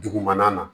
Dugumana na